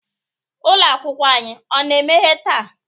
ụlọ akwụkwọ anyị ọ na-emeghe taa?